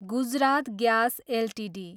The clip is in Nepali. Gujarat gas Ltd